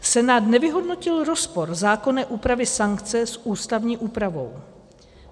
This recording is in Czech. Senát nevyhodnotil rozpor zákonné úpravy sankce s ústavní úpravou.